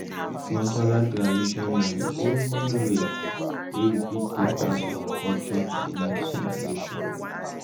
Cultural tradition na di only way wey we fit take pass our culture to di next generation